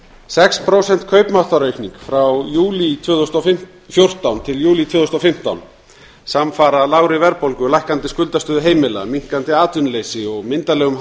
sex prósent kaupmáttaraukning frá júlí tvö þúsund og fjórtán til júlí tvö þúsund og fimmtán samfara lágri verðbólgu lækkandi skuldastöðu heimila minnkandi atvinnuleysi og myndarlegum